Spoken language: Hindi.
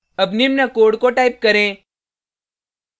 अब निम्न कोड को टाइप करें